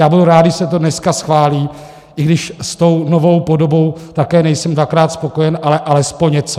Já budu rád, když se to dneska schválí, i když s tou novou podobou také nejsem dvakrát spokojen, ale alespoň něco.